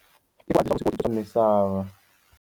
misava.